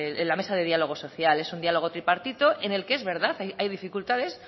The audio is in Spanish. en la mesa de diálogo social es un diálogo tripartito en el que es verdad hay dificultades